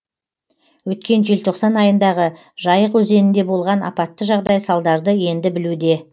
өткен желтоқсан айындағы жайық өзенінде болған апатты жағдай салдарды енді білуде